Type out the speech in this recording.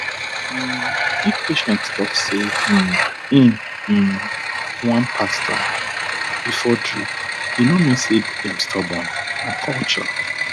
um if patient talk say um e um want pastor before drip e no mean say dem stubborn na culture